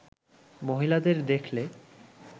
মহিলাদের দেখলে